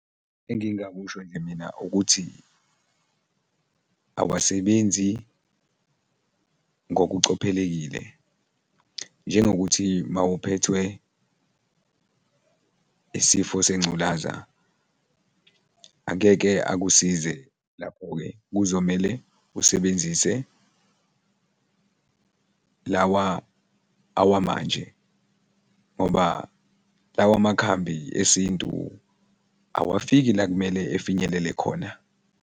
Engingakusho nje mina ukuthi awasebenzi ngokucophelekile njengokuthi mawuphethwe isifo sengculaza angeke akusize lapho-ke, kuzomele usebenzise lawa awamanje ngoba lawa makhambi esintu awafiki la kumele efinyelele khona.